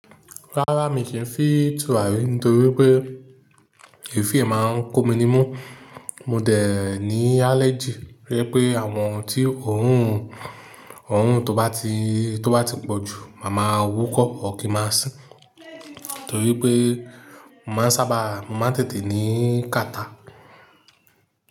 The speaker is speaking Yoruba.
Rárá mi kì fi tùràrí nítorí pé èéfín ẹ̀ máa ń kó mi ní mú, mo dẹ̀ ní allergy to jẹ̀ pé àwọn ti orun tó bá ti pọ̀jù, màá máa wúkọ́ or kín máa sín, torí pé mo máa ń sábà mo má n tètè ní kàtá.